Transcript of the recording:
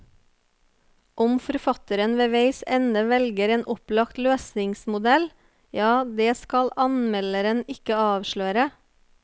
Om forfatteren ved veis ende velger en opplagt løsningsmodell, ja, det skal anmelderen ikke avsløre.